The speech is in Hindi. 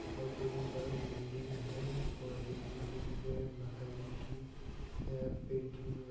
हाउ दोनों तरफ बिल्डिंग है और एक बिल्डिंग पे माताजी की है पेंटिंग भी ब।